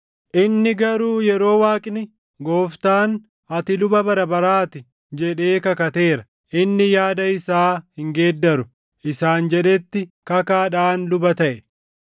inni garuu yeroo Waaqni, “Gooftaan, ‘Ati luba bara baraa ti’ jedhee kakateera; inni yaada isaa hin geeddaru” + 7:21 \+xt Far 110:4\+xt* isaan jedhetti kakaadhaan luba taʼe.